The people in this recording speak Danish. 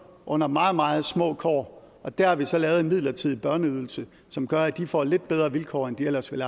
under meget meget små kår og der har vi så lavet en midlertidig børneydelse som gør at de får lidt bedre vilkår end de ellers ville